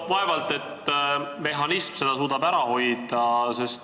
Vaevalt et mehhanism suudab seda ära hoida.